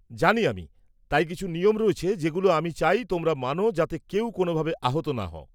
-জানি আমি. তাই কিছু নিয়ম রয়েছে যেগুলো আমি চাই তোমরা মানো যাতে কেউ কোনওভাবে আহত না হও।